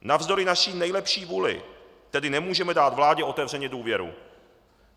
Navzdory naší nejlepší vůli tedy nemůžeme dát vládě otevřeně důvěru.